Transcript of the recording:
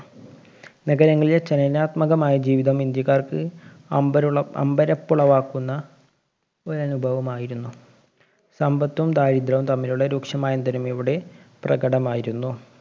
നഗരങ്ങളിലെ ചലനാത്മകമായ ജീവിതം ഇന്ത്യക്കാര്‍ക്ക്, അമ്പരുള്ള അമ്പരപ്പുളവാക്കുന്ന ഒരനുഭവമായിരുന്നു. സമ്പത്തും ദാരിദ്ര്യവും തമ്മിലുള്ള രൂക്ഷമായന്തരം ഇവിടെ പ്രകടമായിരുന്നു.